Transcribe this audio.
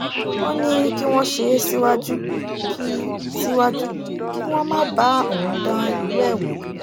ó ní kí wọ́n ṣe é síwájú kí síwájú kí wọ́n má bá òun dán irú ẹ̀ wò